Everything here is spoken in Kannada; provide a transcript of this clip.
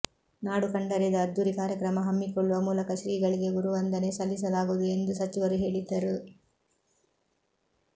ನಾಡು ಕಂಡರಿಯದ ಅದ್ದೂರಿ ಕಾರ್ಯಕ್ರಮ ಹಮ್ಮಿಕೊಳ್ಳುವ ಮೂಲಕ ಶ್ರೀಗಳಿಗೆ ಗುರುವಂದನೆ ಸಲ್ಲಿಸಲಾಗುವುದು ಎಂದು ಸಚಿವರು ಹೇಳಿದ್ದರು